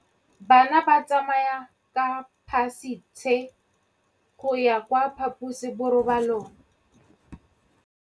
Bana ba tsamaya ka phašitshe go ya kwa phaposiborobalong.